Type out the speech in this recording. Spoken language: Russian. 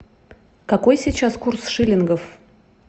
какой сейчас курс шиллингов